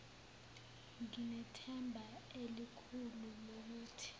nginethemba elikhulu lokuthi